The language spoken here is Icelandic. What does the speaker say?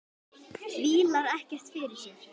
Vílar ekkert fyrir sér.